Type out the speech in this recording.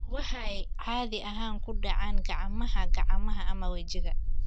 Waxay caadi ahaan ku dhacaan gacmaha, gacmaha, ama wejiga.